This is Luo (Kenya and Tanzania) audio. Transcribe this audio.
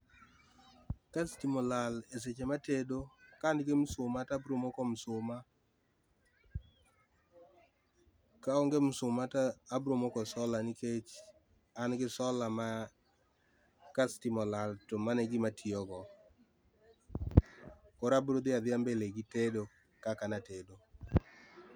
Ka stima olal seche ma atedo, ka an gi msuma to abiro moko msuma, ka onge msuma to abiro moko solar nikech an gi solar ma ka stima olal to mano e gima atiyo go. Koro abiro dhi adhia mbele gi tedo kaka ne atedo